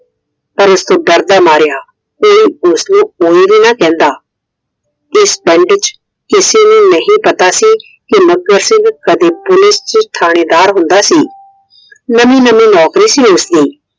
ਪਰ ਉਸਤੋਂ ਡਰਦਾ ਮਾਰਿਆ ਕੋਈ ਉਸਦੇ ਕੋਲ ਵੀ ਨਾ ਜਾਂਦਾ। ਇਸ ਪਿੰਡ ਵਿੱਚ ਕਿਸੇ ਨੂੰ ਨਹੀਂ ਪਤਾ ਸੀ ਕੀ ਮੱਘਰ ਸਿੰਘ Police ਚ ਕਦੇ ਥਾਣੇਦਾਰ ਹੁੰਦਾ ਸੀ। ਨਵੀ ਨਵੀ ਨੌਕਰੀ ਸੀ ਉਸਦੀ।